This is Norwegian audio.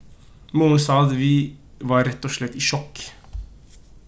moren sa at «vi var rett og slett i sjokk»